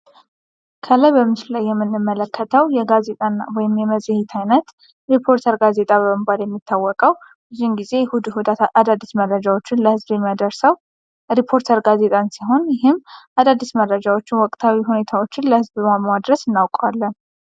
ከላይ በምስሉ ላይ የምንመለከተው የጋዜጣ ወይም የመጽሔት አይነት ሪፖርተር ጋዜጣ በመባል የሚታወቀው ሁልጊዜ እሑድ እሑድ አዳዲስ መረጃዎችን ለህዝቡ የሚያደርሰው ሪፖርተር ጋዜጣን ሲሆን ይህም አዳዲስ መረጃዎችን ወቅታዊ ሁኔታዎችን ለህዝቡ በማድረስ እናውቀዋለን።